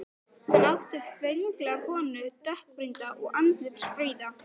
Hann átti föngulega konu, dökkbrýnda og andlitsfríða.